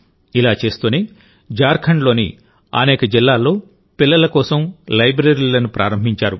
ఇలా చేస్తూనే జార్ఖండ్లోని అనేక జిల్లాల్లో పిల్లల కోసం లైబ్రరీలను ప్రారంభించారు